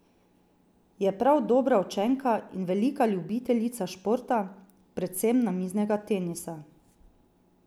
Je prav dobra učenka in velika ljubiteljica športa, predvsem namiznega tenisa.